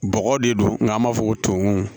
Bɔgɔ de don n'an b'a fɔ ko toŋon